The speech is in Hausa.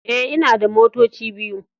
E, ina da motoci biyu.